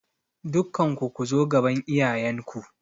Dukkanku ku zo gaban iyayen ku!